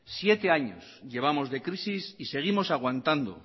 siete años llevamos de crisis y seguimos aguantando